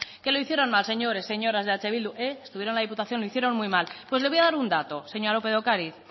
que lo hicieran mal señores señoras de eh bildu estuvieron en la diputación y lo hicieron muy mal pues le voy a dar un dato señora lópez de ocariz